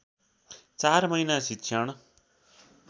चार महिना शिक्षण